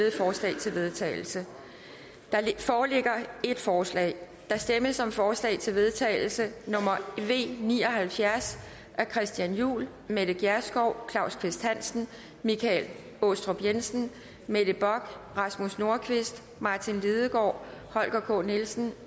vedtagelse der foreligger ét forslag der stemmes om forslag til vedtagelse nummer v ni og halvfjerds af christian juhl mette gjerskov claus kvist hansen michael aastrup jensen mette bock rasmus nordqvist martin lidegaard holger k nielsen